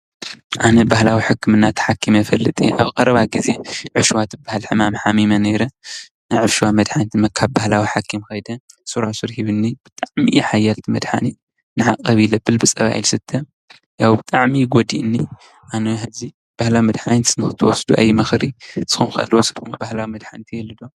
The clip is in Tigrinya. ኣነ ባህላዊ ሕክምና ተሓኪመ ኣየፈልጥን ኣብ ቀረባ ግዘ ዑፍ ሽዋ ትበሃል ሓማም ሓሚመ ነይረ ናይ ዑፍ ሽዋ መድሓኒት ድማ ካብ ባህለዊ ሓኪም ከይደ ሱራሱር ሂቡኒ ብጣዕሚ እዩ ሓያል እቲ መድሓኒት ንዓቐብ እዩ ዘብል ብፀባ እዩ ዝስተ ያው ብጣዕሚ ጎዲኡኒ እዩ ። ሕዚ ኣነ ባህላዊ መደሓኒት ንክትወስዱ ኣይመክርን ንስኩም ከ ትወስድዎ ባሀላዊ መድሓኒት ይህሉ ዶ?